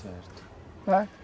Certo